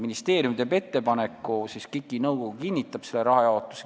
Ministeerium teeb ettepaneku ja KIK-i nõukogu siis kinnitab selle rahajaotuse.